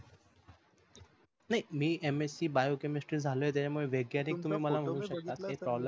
नही मी mscbio chemestry झालोय त्याच्य्मुळे वैज्ञानिक बोलू शकता काही problem नाही